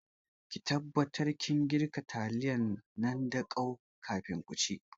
Ki taɓatar kin girka taliyan nan da kau kafin ku ci